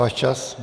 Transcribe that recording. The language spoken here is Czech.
Váš čas!